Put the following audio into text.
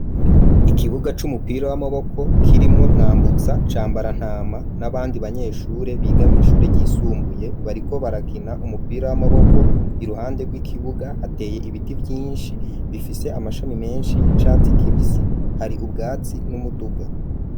Ikibuga c'umupira w'amaboko kirimwo mwambutsa cambarantama n'abandi banyeshure biga mw’ishure ryisumbuye, bariko barakina umupira w'amaboko, iruhande rw'ikibuga hateye ibiti byinshi bifise amashami menshi y'icatsi kibisi hari ubwatsi n'umuduga.